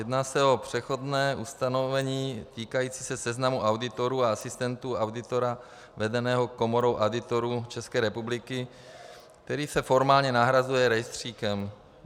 Jedná se o přechodné ustanovení týkající se seznamu auditorů a asistentů auditora vedeného Komorou auditorů České republiky, který se formálně nahrazuje rejstříkem.